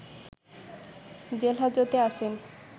জেলহাজতে আছেন